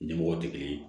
Ɲɛmɔgɔw tɛ kelen ye